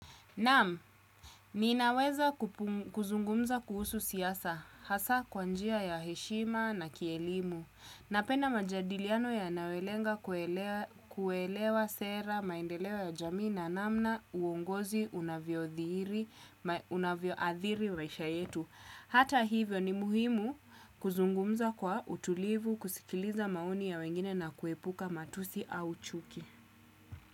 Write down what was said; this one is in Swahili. Naam, ninaweza kupum kuzungumza kuhusu siasa, hasa kwa njia ya heshima na kielimu, napenda majadiliano yanayolenga kuelewa kuelewa sera, maendeleo ya jamii na namna, uongozi unavyodhihiri unavyoadhiri maisha yetu. Hata hivyo ni muhimu kuzungumza kwa utulivu, kusikiliza maoni ya wengine na kuepuka matusi au chuki.